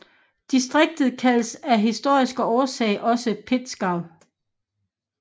Distriktet kaldes af historiske årsager også Pinzgau